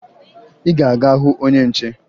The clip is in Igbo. Ị ga-aga hụ onye nche!